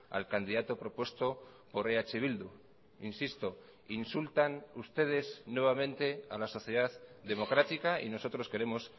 al candidato propuesto por eh bildu insisto insultan ustedes nuevamente a la sociedad democrática y nosotros queremos